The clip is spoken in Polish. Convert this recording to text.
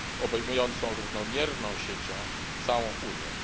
obejmującą równomierną siecią całą Unię.